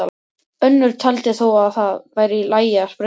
Önnur taldi þó að það væri í lagi að sprengja.